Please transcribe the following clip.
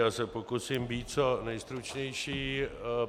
Já se pokusím být co nejstručnější.